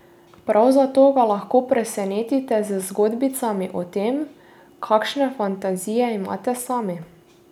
Prav zato ga lahko presenetite z zgodbicami o tem, kakšne fantazije imate sami.